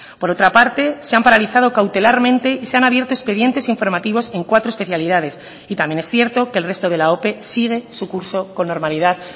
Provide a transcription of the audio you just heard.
por otra parte se han paralizado cautelarmente y se han abierto expedientes informativos en cuatro especialidades y también es cierto que el resto de la ope sigue su curso con normalidad